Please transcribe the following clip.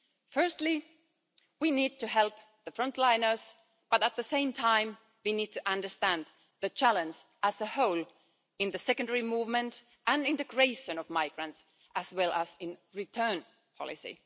here. Firstly, we need to help the front liners but, at the same time, we need to understand the challenge as a whole in the secondary movement and integration of migrants, as well as in return policy.